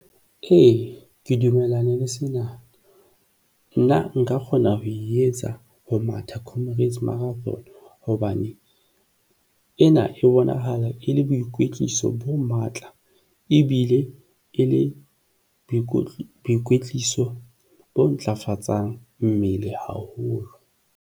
Ke dumellana le sena, nna nka kgona ho e etsa ho matha Comrades Marathon hobane ena e bona haeba e le boikwetliso bo matla ebile e le boikutlo, boikwetliso bo ntlafatsang mmele haholo.